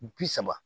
Bi saba